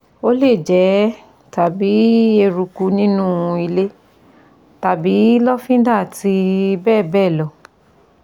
Ó lè jẹ́ tàbí eruku nínú ilé tàbí lọ́fíńdà àti bẹ́ẹ̀ bẹ́ẹ̀ lọ